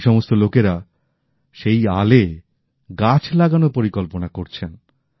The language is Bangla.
এখন এই সমস্ত লোকেরা সেই আলে গাছ লাগানোর পরিকল্পনা করছেন